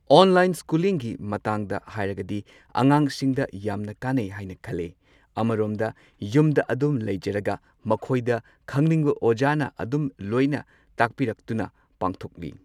Online ꯁ꯭ꯀꯨꯂꯤꯡꯒꯤ ꯃꯇꯥꯡꯗ ꯍꯥꯏꯔꯒꯗꯤ ꯑꯉꯥꯡꯁꯤꯡꯗ ꯌꯥꯝꯅ ꯀꯥꯟꯅꯩ ꯍꯥꯏꯅ ꯈꯜꯂꯦ꯫ ꯑꯃꯔꯣꯝꯗ ꯌꯨꯝꯗ ꯑꯗꯨꯝ ꯂꯩꯖꯔꯒ ꯃꯈꯣꯏꯗ ꯈꯪꯅꯤꯡꯕ ꯑꯣꯖꯥꯅ ꯑꯗꯨꯝ ꯂꯣꯏꯅ ꯇꯥꯛꯄꯤꯔꯛꯇꯨꯅ ꯄꯥꯡꯊꯣꯛꯏ꯫